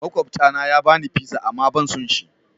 Makwabta na ya bani pizza amma ban son shi.